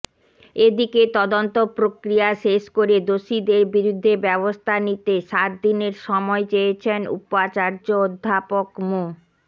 এদিকে তদন্তপ্রক্রিয়া শেষ করে দোষীদের বিরুদ্ধে ব্যবস্থা নিতে সাত দিনের সময় চেয়েছেন উপাচার্য অধ্যাপক মো